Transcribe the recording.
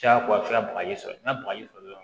Jaagoya bagaji sɔrɔ n'a bagaji sɔrɔla